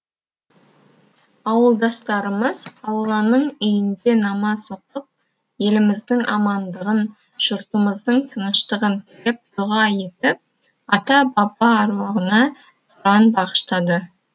ауылдастарымыз алланың үйінде намаз оқып еліміздің амандығын жұртымыздың тыныштығын тілеп дұға етіп ата баба әруағына құран бағыштады